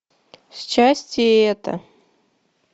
счастье это